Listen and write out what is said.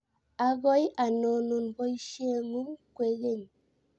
akoi anonun boisie ngung kwekeny